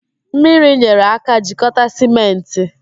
Mmiri nyere aka jikọta sịmentị